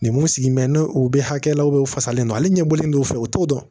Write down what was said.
Nin mun sigilen bɛ ni u bɛ hakɛ la u fasalen don ale ɲɛbolilen do u fɛ u t'o dɔn